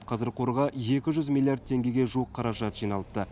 қазір қорға екі жүз миллиард теңгеге жуық қаражат жиналыпты